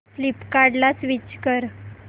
फ्लिपकार्टं ला स्विच कर